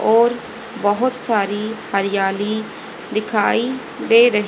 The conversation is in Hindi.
और बोहोत सारी हरियाली दिखाई दे रही--